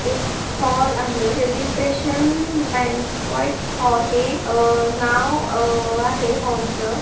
एक हॉल आहे celebration banquet hall हे अ-ह नाव अ-ह -आहे हॉल च.